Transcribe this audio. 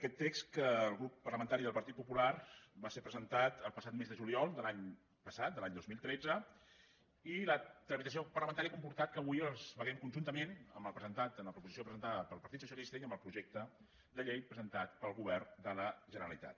aquest text del grup parlamentari del partit popular va ser presentat el passat mes de juliol de l’any passat de l’any dos mil tretze i la tramitació parlamentària ha comportat que avui els vegem conjuntament amb el presentat amb la proposició presentada pel partit socialista i amb el projecte de llei presentat pel govern de la generalitat